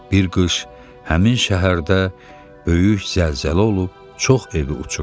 Bir qış həmin şəhərdə böyük zəlzələ olub çox evi uçurtdurdu.